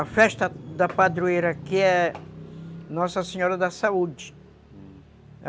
A festa da padroeira, que é Nossa Senhora da Saúde, hum